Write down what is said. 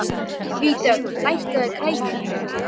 Hann réði sér ekki fyrir kæti og iðaði í skinninu.